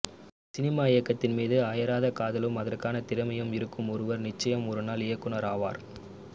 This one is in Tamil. சினிமா இயக்கத்தின் மீது அயராத காதலும் அதற்கான திறமையும் இருக்கும் ஒருவர் நிச்சயம் ஒரு நாள் இயக்குனர் ஆவார்